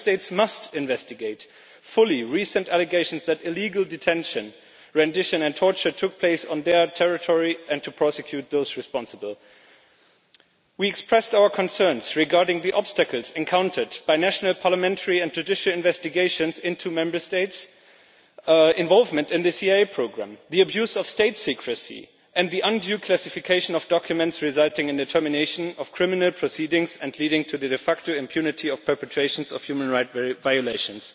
Member States must investigate fully recent allegations that illegal detention, rendition and torture took place on their territory, and prosecute those responsible. We expressed our concerns regarding the obstacles encountered by national parliamentary and judicial investigations into Member States' involvement in the CIA programme, the abuse of state secrecy and the undue classification of documents, resulting in the termination of criminal proceedings and leading to the de facto impunity of perpetrations of human rights violations.